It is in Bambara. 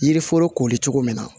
Yiri foro koli cogo min na